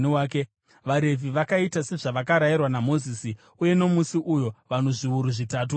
VaRevhi vakaita sezvavakarayirwa naMozisi, uye nomusi uyo vanhu zviuru zvitatu vakafa.